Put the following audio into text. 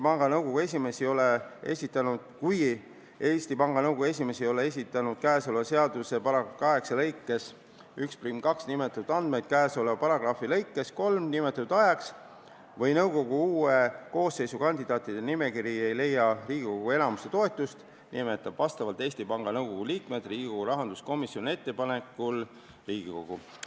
Kui Eesti Panga Nõukogu esimees ei ole esitanud käesoleva seaduse § 8 lõikes 12 nimetatud andmeid seaduses nimetatud ajaks või kui nõukogu uue koosseisu kandidaatide nimekiri ei saa Riigikogu enamuse toetust, nimetab Eesti Panga Nõukogu liikmed rahanduskomisjoni ettepanekul Riigikogu.